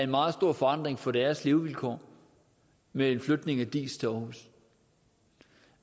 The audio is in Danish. meget stor forandring for deres levevilkår med en flytning af diis til aarhus